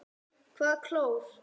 Hvaða klór?